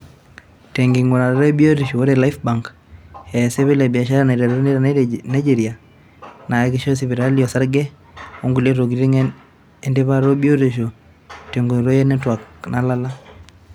Tenkingurata e biotisho, ore Lifebank, aa esipil ebiashara naiteruni te Nigeria naakishoo sipitalini osarge onkulei tokitin etipata e biotishoo tenkoitoi e netwak nalala.